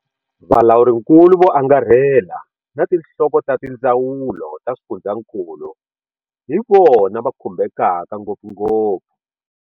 Valawurinkulu vo Angarhela na tinhloko ta tindzawulo ta swifundzakulu hi vona va khumbekaka ngopfungopfu.